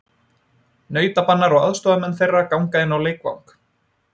Nautabanar og aðstoðarmenn þeirra ganga inn á leikvang.